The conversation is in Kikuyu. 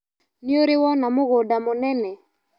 Nĩũrĩ wona mũgũnda mũnene.